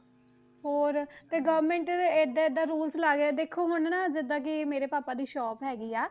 ਹੋਰ ਤੇ government ਏਦਾਂ ਏਦਾਂ rules ਲਾ ਕੇ ਦੇਖੋ ਹੁਣ ਹਨਾ ਜਿੱਦਾਂ ਕਿ ਮੇਰੇ ਪਾਪਾ ਦੀ shop ਹੈਗੀ ਆ,